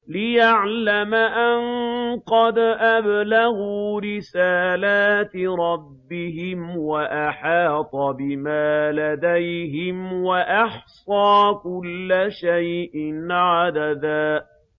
لِّيَعْلَمَ أَن قَدْ أَبْلَغُوا رِسَالَاتِ رَبِّهِمْ وَأَحَاطَ بِمَا لَدَيْهِمْ وَأَحْصَىٰ كُلَّ شَيْءٍ عَدَدًا